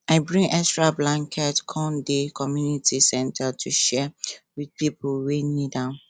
i bring extra blanket come di community center to share with pipo wey need am